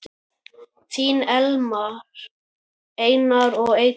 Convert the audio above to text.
Þín Elmar, Erna og Eydís.